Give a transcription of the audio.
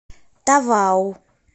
тавау